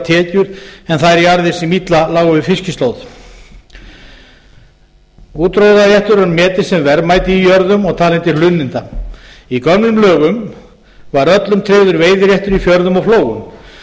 tekjur en þær jarðir sem illa lágu við fiskislóð útróðraréttur var metinn sem verðmæti í jörðum og talinn til hlunninda í gömlum lögum var öllum tryggður veiðiréttur í fjörðum og flóum